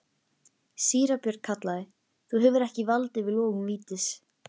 Síra Björn kallaði: Þú hefur ekki vald yfir logum vítis.